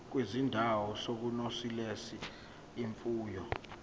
kwizindawo zokunonisela imfuyo